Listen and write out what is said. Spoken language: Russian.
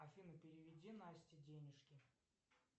афина переведи насте денежки